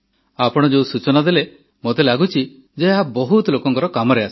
ଆପଣ ଯେଉଁ ସୂଚନା ଦେଲେ ମୋତେ ଲାଗୁଛି ଯେ ଏହା ବହୁତ ଲୋକଙ୍କର କାମରେ ଆସିବ